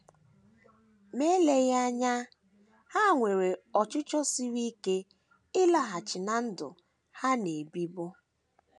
Ma eleghị anya, ha nwere ọchịchọ siri ike ịlaghachi ná ndụ ha “ na - ebibu. ”